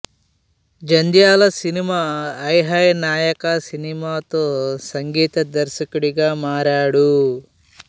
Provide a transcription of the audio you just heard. జంధ్యాల సినిమా హై హై నాయకా సినిమాతో సంగీత దర్శకుడిగా మారాడు